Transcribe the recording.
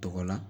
Tɔgɔ la